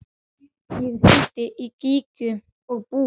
Ég hringdi í Gígju og Búa.